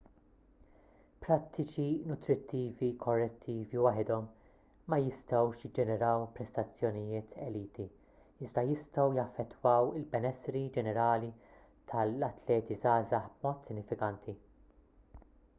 prattiċi nutrittivi korretti waħedhom ma jistgħux jiġġeneraw prestazzjonijiet elit iżda jistgħu jaffettwaw il-benessri ġenerali tal-atleti żgħażagħ b'mod sinifikanti